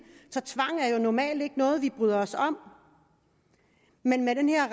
så tvang er jo normalt ikke noget vi bryder os om men med den her